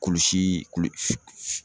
Kulusii kulu kulusi kulusi